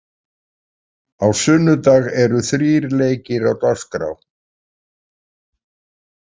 Á sunnudag eru þrír leikir á dagskrá.